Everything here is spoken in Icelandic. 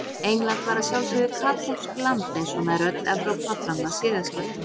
England var að sjálfsögðu katólskt land eins og nær öll Evrópa fram að siðaskiptum.